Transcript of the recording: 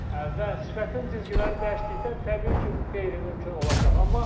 Və sifətin cizgiləri dəyişdikdən təbii ki, bu qeyri-mümkün olacaq.